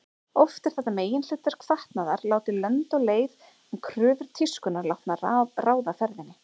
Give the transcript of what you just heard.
Oft er þetta meginhlutverk fatnaðar látið lönd og leið en kröfur tískunnar látnar ráða ferðinni.